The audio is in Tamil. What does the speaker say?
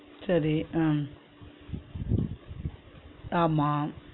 சரி அஹ் ஆமா